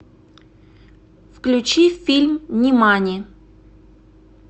включи фильм внимание